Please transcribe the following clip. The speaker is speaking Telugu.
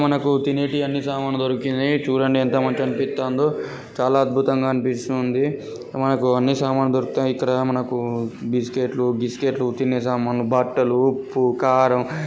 మనకు తినేటియి అన్ని సామాను దొరికినాయి చూడండి ఎంత మంచిగా అనిపిత్తందో చాల అద్బుతంగా అనిపిస్తుంది మనకు అన్ని సామాను దొరుకుతాయి. ఇక్కడ మనకు బిస్కెట్స్ గిస్కేట్స్ తినే సమండ్లు బట్టలు ఉప్పు కారం--